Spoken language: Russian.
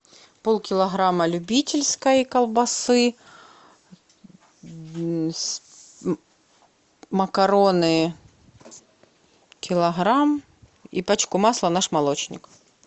полкилограмма любительской колбасы макароны килограмм и пачку масла наш молочник